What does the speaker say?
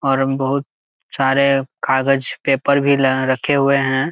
और हम बहोत सारे कागज पेपर भी रखे हुए है।